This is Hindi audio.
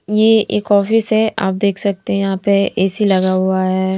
ये एक ऑफिस है आप देख सकते हैं यहाँं पे ए_सी लगा हुआ है।